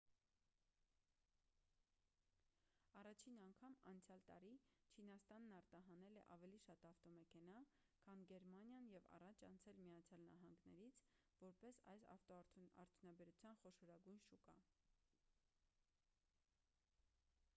առաջին անգամ անցյալ տարի չինաստանն արտահանել է ավելի շատ ավտոմեքենա քան գերմանիան և առաջ անցել միացյալ նահանգներից որպես այս ավտոարդյունաբերության խոշորագույն շուկա